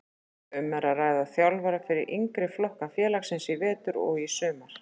Um er að ræða þjálfara fyrir yngri flokka félagsins í vetur og í sumar.